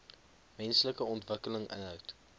menslike ontwikkeling inhoud